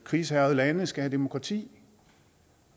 krigshærgede lande skal have demokrati